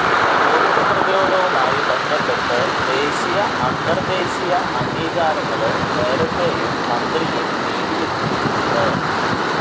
Covid പ്രതിരോധവുമായി ബന്ധപ്പെട്ട് ദേശീയ അന്തര് ദേശീയ അംഗീകാരങ്ങള് നേരത്തേയും മന്ത്രിയെ തേടിയെത്തിയിട്ടുണ്ട്